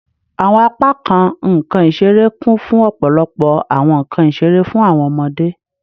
Awọn apakan nkan isere kun fun ọpọlọpọ awọn nkan isere fun awọn ọmọde